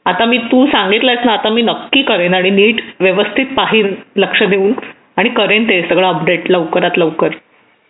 आता मी तू सांगितलं आहेस ना आता मी नक्की करेन आणि नीट व्यवस्थित पाहीन लक्ष देऊन आणि करेल ते सगळं अपडेट लवकरात लवकर